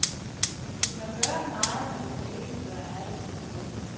Du kan gøre meget, men du kan ikke gøre alle tilfredse.